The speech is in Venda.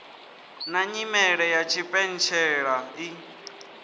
na nyimele ya tshipentshela i